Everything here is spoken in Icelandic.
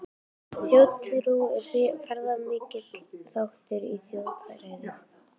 Þjóðtrú er fyrirferðamikill þáttur í þjóðfræði.